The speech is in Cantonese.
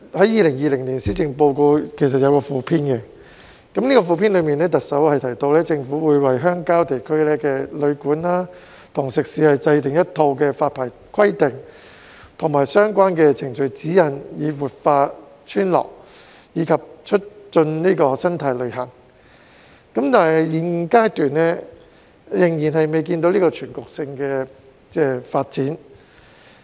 2020年施政報告其實有一個附篇，當中行政長官提到，政府會為鄉郊地區的旅館和食肆制訂一套發牌規定及相關程序指引，以活化村落及促進生態旅遊，但是，現階段仍未見全局性的發展。